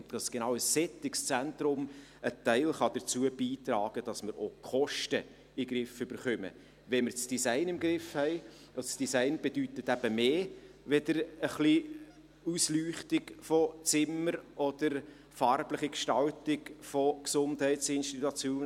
Genau ein solches Zentrum kann einen Teil dazu beitragen, dass wir auch die Kosten in den Griff bekommen, wenn wir das Design im Griff haben – Design bedeutet ein bisschen mehr als nur Ausleuchtung von Zimmern oder farbliche Gestaltung von Innenräumen von Gesundheitsinstitutionen.